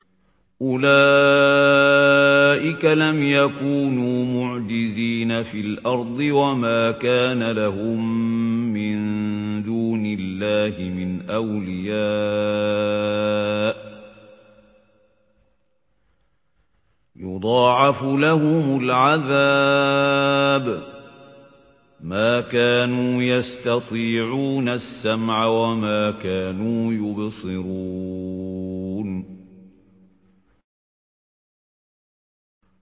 أُولَٰئِكَ لَمْ يَكُونُوا مُعْجِزِينَ فِي الْأَرْضِ وَمَا كَانَ لَهُم مِّن دُونِ اللَّهِ مِنْ أَوْلِيَاءَ ۘ يُضَاعَفُ لَهُمُ الْعَذَابُ ۚ مَا كَانُوا يَسْتَطِيعُونَ السَّمْعَ وَمَا كَانُوا يُبْصِرُونَ